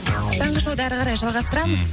таңғы шоуды әрі қарай жалғастырамыз